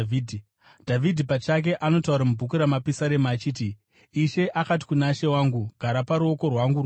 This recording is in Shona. Dhavhidhi pachake anotaura mubhuku raMapisarema achiti: “ ‘Ishe akati kuna She wangu: Gara kuruoko rwangu rworudyi